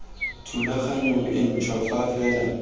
thulaganyong e ntšhwa fa fela